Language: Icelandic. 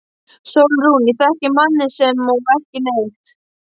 SÓLRÚN: Ég þekki manninn sama og ekki neitt.